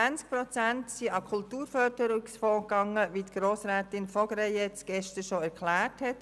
20 Prozent gingen an den Kulturförderungsfonds, wie Grossrätin von Greyerz gestern bereits erklärte.